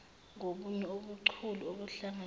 ngobunye ubuchule obuhlanganisa